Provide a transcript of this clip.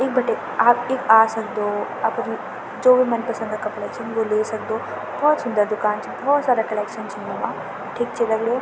यख बटी आप ईख आ सक्दो अप्रि जो भी मनपसंद क कपड़ा छिन वो ले सक्दो भोत सुंदर दुकान चा भोत सारा कलेक्शन च यूँ मा ठीक च दगडियों।